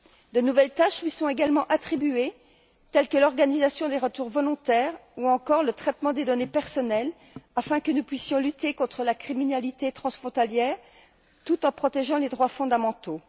De nouvelles tâches lui sont également confiées, telles que l'organisation des retours volontaires ou encore le traitement des données personnelles, afin que nous puissions lutter contre la criminalité transfrontalière tout en protégeant les droits fondamentaux.